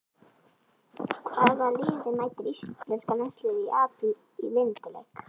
Hvaða liði mætir Íslenska landsliðið í apríl í vináttuleik?